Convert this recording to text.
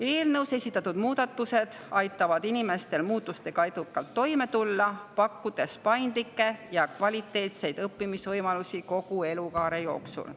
Eelnõus esitatud muudatused aitavad inimestel muutustega edukalt toime tulla, pakkudes paindlikke ja kvaliteetseid õppimisvõimalusi kogu elukaare jooksul.